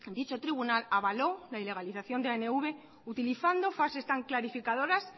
dicho tribunal avaló la ilegalización de anv utilizando frases tan clarificadoras